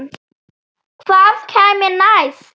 Hvað kæmi næst?